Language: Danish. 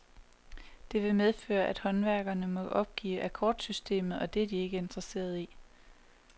Det vil medføre, at håndværkerne må opgive akkordsystemet, og det er de ikke interesserede i.